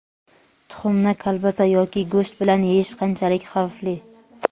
Tuxumni kolbasa yoki go‘sht bilan yeyish qanchalik xavfli?.